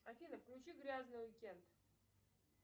афина включи грязный уикенд